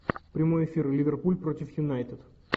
прямой эфир ливерпуль против юнайтед